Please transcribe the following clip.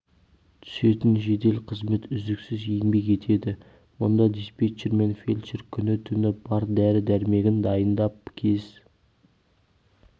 түсетін жедел қызмет үздіксіз еңбек етеді мұнда диспетчер мен фельдшер күні-түні бар дәрі-дәрмегін дайындап кез